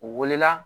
U wele la